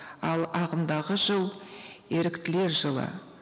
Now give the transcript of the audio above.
ал ағымдағы жыл еріктілер жылы